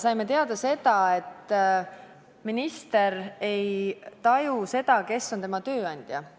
Saime teada, et minister ei taju seda, kes on tema tööandja.